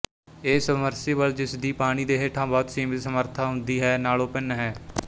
ਇਹ ਸਬਮਰਸੀਬਲ ਜਿਸ ਦੀ ਪਾਣੀ ਦੇ ਹੇਠਾਂ ਬਹੁਤ ਸੀਮਤ ਸਮਰੱਥਾ ਹੁੰਦੀ ਹੈ ਨਾਲੋਂ ਭਿੰਨ ਹੈ